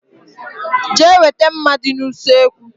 Jee weta mma dị n' usekwu!!!!